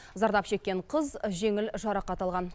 зардап шеккен қыз жеңіл жарақат алған